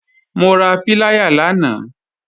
Mo ra píláyà lánàá